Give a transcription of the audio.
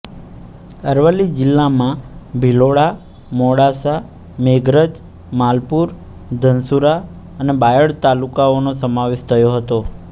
અરવલ્લી જિલ્લામાં ભિલોડા મોડાસા મેઘરજ માલપુર ધનસુરા અને બાયડ તાલુકાઓનો સમાવેશ થયો હતો